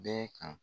Bɛɛ kan